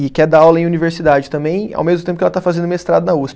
E quer dar aula em universidade também, ao mesmo tempo que ela está fazendo mestrado na usp